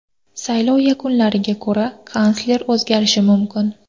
Saylov yakunlariga ko‘ra, kansler o‘zgarishi mumkin.